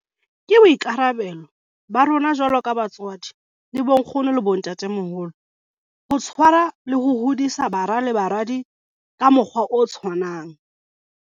Ke boikarabelo ba rona jwalo ka batswadi le bonkgono le bontatemoholo ho tshwarwa le ho hodisa bara le baradi ka mokgwa o tshwanang.